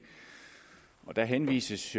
der henvises